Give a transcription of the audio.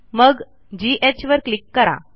मग घ वर क्लिक करा